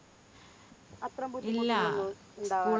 അത്ര ബുദ്ധിമുട്ട് ഉണ്ടാവാർ